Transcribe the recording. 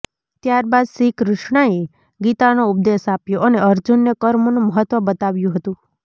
ત્યારબાદ શ્રીકૃષ્ણએ ગીતાનો ઉપદેશ આપ્યો અને અર્જુનને કર્મોનું મહત્વ બતાવ્યું હતું